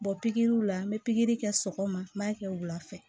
Bɔ pikiriw la n bɛ pikiri kɛ sɔgɔma n b'a kɛ wula fɛ